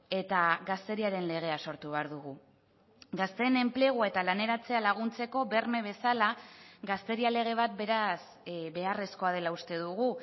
eta gazteriaren legea sortu behar dugu gazteen enplegu eta laneratzea laguntzeko berme bezala gazteria lege bat beraz beharrezkoa dela uste dugu